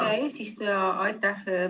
Aitäh, eesistuja!